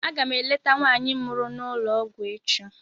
Aga m eleta nwaanyị mụrụ n'ụlọ ọgwụ echi